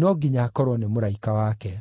“No nginya akorwo nĩ mũraika wake.”